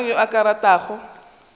mang yo a ka ratago